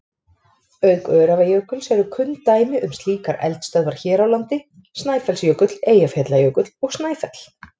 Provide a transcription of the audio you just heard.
Auk Öræfajökuls eru kunn dæmi um slíkar eldstöðvar hér á landi Snæfellsjökull, Eyjafjallajökull og Snæfell.